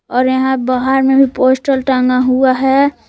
और यहां बाहर में भी पोस्टर टांगा हुआ है।